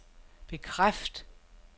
bekræft